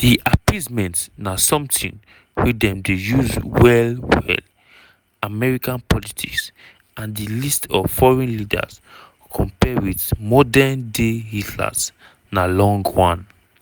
di term "appeasement" na sometin wey dem dey use well-well american politics and di list of foreign leaders compare wit modern-day "hitlers" na long one.